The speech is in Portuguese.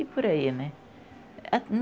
E por aí, né?